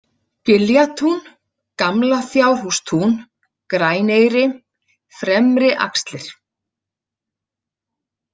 Giljatún, Gamla-Fjárhústún, Græneyri, Fremri-Axlir